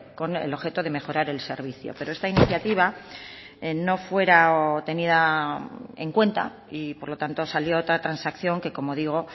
con el objeto de mejorar el servicio pero esta iniciativa no fuera tenida en cuenta y por lo tanto salió otra transacción que como digo